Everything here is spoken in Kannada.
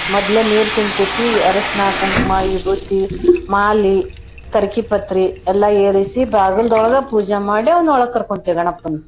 ಮದ್ಲ ನೀರ್ ಚಿಮ್ಕುಸೀ ಅರಶ್ನ ಕುಂಕ್ಮ ವಿಬೂತಿ ಮಾಲಿ ಕರ್ಕಿ ಪತ್ರಿ ಎಲ್ಲಾ ಏರಿಸಿ ಬಾಗಲ್ದೊಳಗ ಪೂಜೆ ಮಾಡೇ ಅವ್ನ್ ಒಳಗ್ ಕರ್ಕೊಂತೆವ್ ಗಣಪನ್.